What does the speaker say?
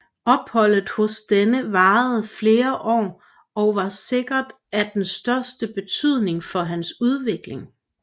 Opholdet hos denne varede flere år og var sikkert af den største betydning for hans udvikling